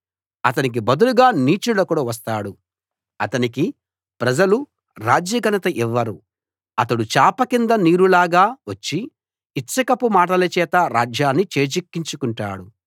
అతనికి బదులుగా నీచుడొకడు వస్తాడు అతనికి ప్రజలు రాజ్య ఘనత ఇవ్వరు అతడు చాప కింద నీరు లాగా వచ్చి ఇచ్చకపు మాటల చేత రాజ్యాన్ని చేజిక్కించుకుంటాడు